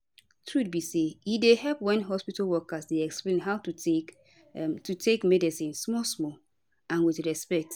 truth be say e dey help wen hospitol workers dey explain how to take to take medicine small small and with respect